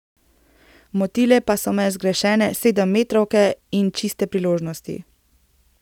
Motile pa so me zgrešene sedemmetrovke in čiste priložnosti.